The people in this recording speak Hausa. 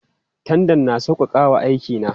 Tandan na sauƙaƙa wa aiki na.